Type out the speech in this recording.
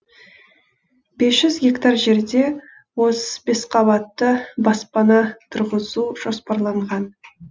бес жүз гектар жерде отыз бес қабатты баспана тұрғызу жоспарланған